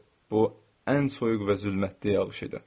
Bu ən soyuq və zülmətli yağış idi.